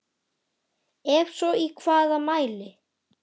Ef svo í hvaða mæli?